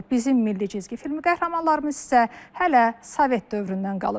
Bizim milli cizgi filmi qəhrəmanlarımız isə hələ sovet dövründən qalıb.